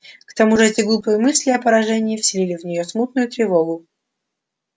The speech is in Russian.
к тому же эти глупые мысли о поражении вселили в неё смутную тревогу